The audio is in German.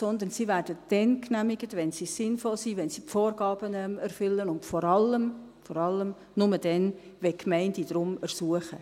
Sie werden dann genehmigt, wenn sie sinnvoll sind, wenn sie die Vorgaben erfüllen, und vor allem – vor allem! – nur dann, wenn die Gemeinden darum ersuchen.